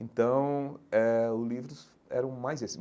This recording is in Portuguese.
Então eh o livros eram mais esses.